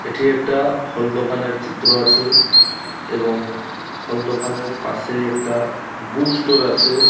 এঠি একটা ফল দোকানের চিত্র আছে এবং ফল দোকানের পাশেই একটা বুক স্টোর আছে।